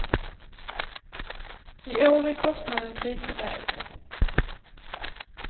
I år är kostnaden lite lägre.